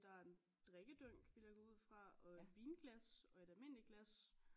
Der er en drikkedunk vil jeg gå ud fra og et vinglas og et almindeligt glas